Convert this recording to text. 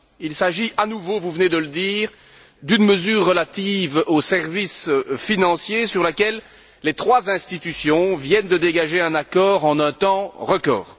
Il s'agit, à nouveau, vous venez de le dire, d'une mesure relative aux services financiers sur laquelle les trois institutions viennent de dégager un accord en un temps record.